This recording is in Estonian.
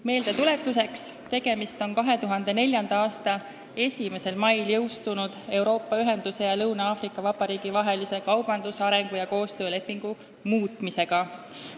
Meeldetuletuseks: tegemist on 2004. aasta 1. mail jõustunud Euroopa Ühenduse ja Lõuna-Aafrika Vabariigi vahelise kaubandus-, arengu- ja koostöölepingu muutmisega.